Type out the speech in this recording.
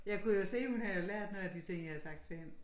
Jeg kunne jo se hun havde jo lært noget af de ting jeg havde sagt til hende